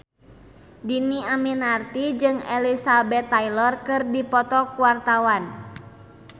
Dhini Aminarti jeung Elizabeth Taylor keur dipoto ku wartawan